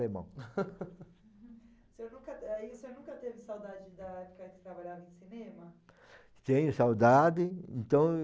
O senhor aí, o senhor nunca teve saudade de trabalhar no cinema? Tenho saudades, então